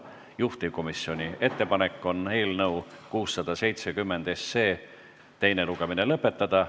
Juhtivkomisjoni ettepanek on eelnõu 670 teine lugemine lõpetada.